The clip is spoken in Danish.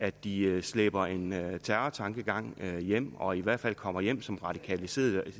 at de slæber en terrortankegang med hjem og i hvert fald kommer hjem som radikaliserede